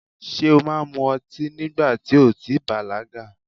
Ṣé o máa mu ọtí nígbà ti o ò tí i bàlágà?